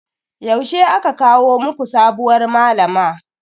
Yaushe aka kawo muku sabuwar malama?